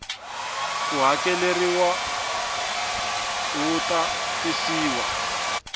ko hakeleriwa wu ta tisiwa